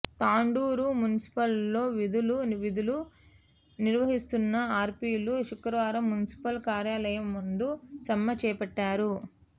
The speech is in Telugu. తాండూరు మున్సిపల్లో విధులు విధులు నిర్వహిస్తున్న ఆర్పిలు శుక్రవారం మున్సిపల్ కార్యాలయం ముందు సమ్మె చేపట్టారు